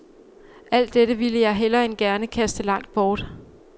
Alt dette ville jeg hellere end gerne kaste langt bort.